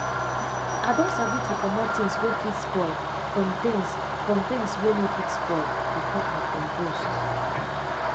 i don sabi to commot things wey fit spoil from tins from tins wey no fit spoil before i compost